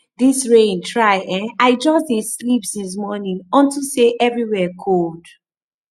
dis rain try eh i just dey sleep since morning unto say everywhere cold